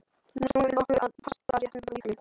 Nú snúum við okkur að pastaréttunum frá Ítalíu.